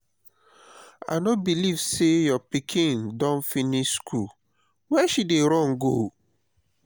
i no believe say your pikin don finish school. where she dey run go?